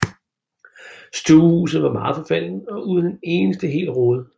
Stuehuset var meget forfaldent og uden en eneste hel rude